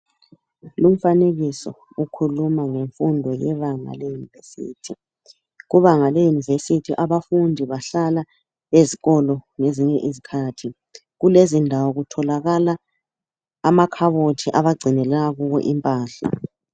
Lumfanekiso ukhuluma ngemfundo yebanga leYunivesi. Kubanga leYunivesi abafundi bahlala ezikolo kwezinye isikhathi. Kulezindawo kutholakala amakhabothi abagcinela kuwo impahla.